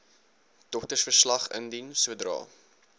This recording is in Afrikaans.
doktersverslag indien sodra